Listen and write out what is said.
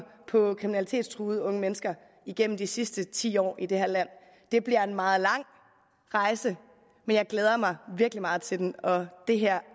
på kriminalitetstruede unge mennesker igennem de sidste ti år i det her land det bliver en meget lang rejse men jeg glæder mig virkelig meget til den og det her